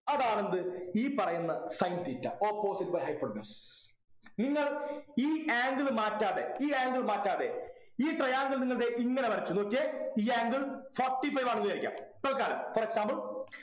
അതാണെന്ത് ഈ പറയുന്ന sin theta Opposite by hypotenuse നിങ്ങൾ ഈ angle മാറ്റാതെ ഈ angle മാറ്റാതെ ഈ triangle നിങ്ങൾ ദേ ഇങ്ങനെ വരച്ചു നോക്കിയേ ഈ angle Forty five ആണെന്ന് വിചാരിക്കുക തല്ക്കാലം for example